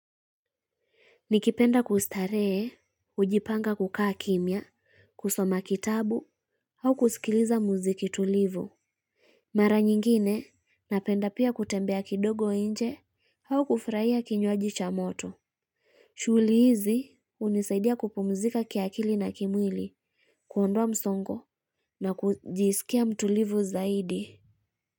Nikipenda kustaree, hujipanga kukaa kimya, kusoma kitabu, au kusikiliza muziki tulivu. Mara nyingine napenda pia kutembea kidogo nje au kufurahia kinywaji cha moto. Shughuli hizi hunisaidia kupumzika kiakili na kimwili, kuondoa msongo na kujisikia mtulivu zaidi.